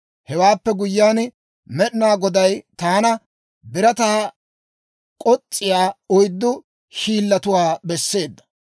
Hewaappe guyyiyaan, Med'inaa Goday taana birataa k'os's'iyaa oyddu hiillatuwaa besseedda.